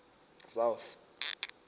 south